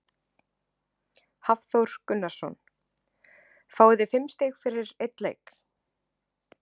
Hafþór Gunnarsson: Fáið þið fimm stig fyrir einn leik?